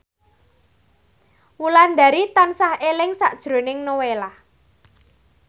Wulandari tansah eling sakjroning Nowela